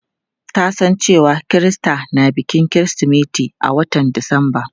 Ta san cewa Kirista na bikin kirismeti a watan disamba.